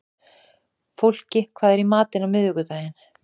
Fólki, hvað er í matinn á miðvikudaginn?